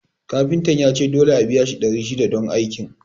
Kafintan yace dole a biya shi ɗari shida don aikin